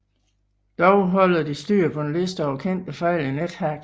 Dog holder de styr på en liste over kendte fejl i NetHack